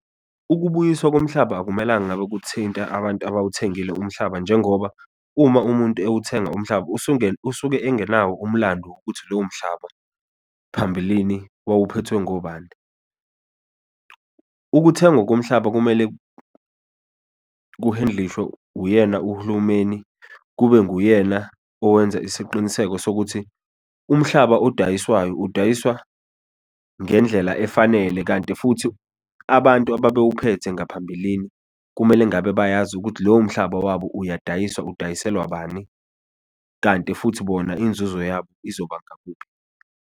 Ukubuyiswa komhlaba akumelanga ngabe kuthinta abantu abawuthengile umhlaba, njengoba uma umuntu ewuthenga umhlaba usuke engenawo umlandu ukuthi lowo mhlaba phambilini wawuphethwe ngobani. Ukuthengwa komhlaba kumele ku-handle-lishwe uyena uhulumeni, kube nguyena owenza isiqiniseko sokuthi umhlaba odayiswayo, udayisa ngendlela efanele, kanti futhi abantu ababewuphethe ngaphambilini kumele ngabe bayazi ukuthi lowo mhlaba wabo uyadayiswa, udayisela bani, kanti futhi bona inzuzo yabo izoba ngakuphi.